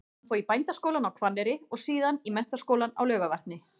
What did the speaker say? Hann fór í Bændaskólann á Hvanneyri og síðan í Menntaskólann á Laugarvatni.